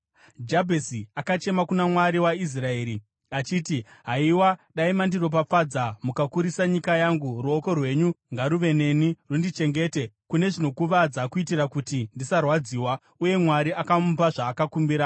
Jabhezi akachema kuna Mwari waIsraeri achiti, “Haiwa, dai mandiropafadza mukakurisa nyika yangu! Ruoko rwenyu ngaruve neni, rundichengete kune zvinokuvadza kuitira kuti ndisarwadziwa.” Uye Mwari akamupa zvaakakumbira.